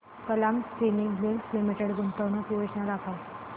Kalam spinning mills limited गुंतवणूक योजना दाखव